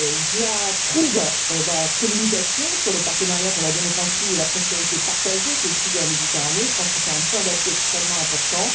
J'approuve la communication sur le partenariat pour la démocratie et la prospérité partagées avec le Sud de la Méditerranée, et je pense que c'est un point d'appui extrêmement important.